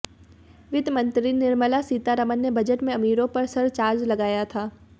वित्त मंत्री निर्मला सीतारमण ने बजट में अमीरों पर सरचार्ज लगाया था